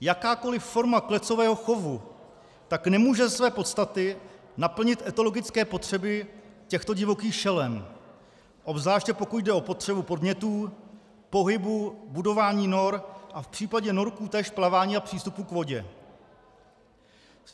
Jakákoliv forma klecového chovu tak nemůže ze své podstaty naplnit etologické potřeby těchto divokých šelem, obzvláště pokud jde o potřebu podnětů, pohybu, budování nor a v případě norků též plavání a přístupu k vodě.